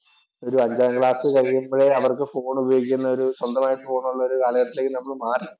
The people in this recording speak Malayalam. ഒരു അഞ്ചാം ക്ലാസ്സ്‌ കഴിയുമ്പോഴേ അവർക്ക് ഫോണ്‍ ഉപയോഗിക്കുന്ന ഒരു സ്വന്തമായിട്ട് ഫോണ്‍ ഉള്ള ഒരു കാലഘട്ടത്തിലേക്ക് നമ്മൾ മാറി.